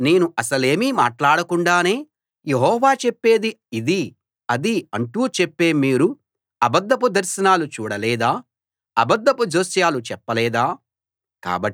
నేను అసలేమీ మాట్లాడకుండానే యెహోవా చెప్పేది ఇదీ అదీ అంటూ చెప్పే మీరు అబద్ధపు దర్శనాలు చూడలేదా అబద్ధపు జోస్యాలు చెప్పలేదా